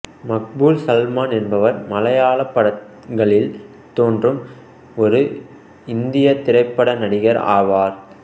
மக்பூல் சல்மான் என்பவர் மலையாள படங்களில் தோன்றும் ஒரு இந்திய திரைப்பட நடிகர் ஆவார்